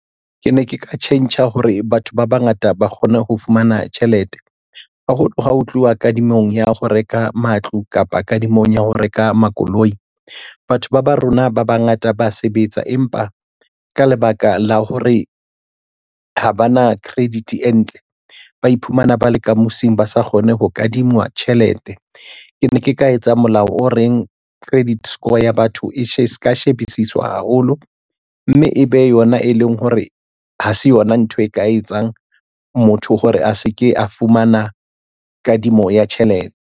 Ke ne ke ka tjhentjha hore batho ba bangata ba kgone ho fumana tjhelete haholo ha ho tluwa kadimong ya ho reka matlo kapa kadimong ya ho reka makoloi. Batho ba rona ba bangata ba sebetsa empa ka lebaka la hore ha ba na credit e ntle ba iphumana ba leka mosing ba sa kgone ho kadingwa tjhelete. Ke ne ke ka etsa molao o reng credit score ya batho e se ka shebisiswa haholo, mme ebe yona e leng hore ha se yona ntho e ka etsang motho hore a se ke a fumana kadimo ya tjhelete.